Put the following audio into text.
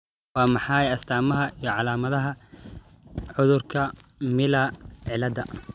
Waa maxay astamaha iyo calaamadaha cudurka Miller ciilada?